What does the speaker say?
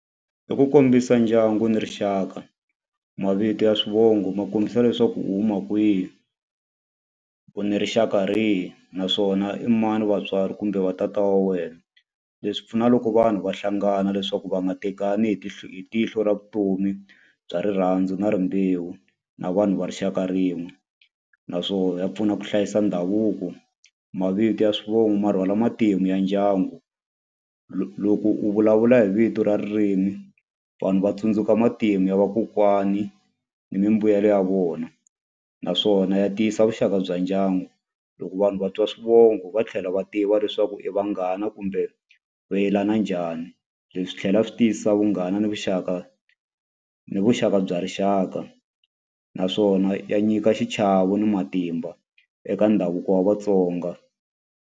I ku kombisa ndyangu ni rixaka. Mavito ya swivongo ma kombisa leswaku u huma kwihi, u ni rixaka rihi, naswona i mani vatswari kumbe va tata wa wena. Leswi pfuna loko vanhu va hlangana leswaku va nga tekani hi hi tihlo ra vutomi bya rirhandzu na rimbewu na vanhu va rixaka rin'we, naswona ya pfuna ku hlayisa ndhavuko. Mavito ya swivongo ma rhwala matimu ya ndyangu. Loko u vulavula hi vito ra ririmi, vanhu va tsundzuka matimu ya vakokwani ni mimbuyelo ya vona. Naswona ya tiyisa vuxaka bya ndyangu. Loko vanhu va twa swivongo va tlhela va tiva leswaku i vanghana kumbe vuyelana njhani, leswi swi tlhela swi tiyisisa vunghana, ni vuxaka, ni vuxaka bya rixaka. Naswona ya nyika xichavo ni matimba eka ndhavuko wa vaTsonga.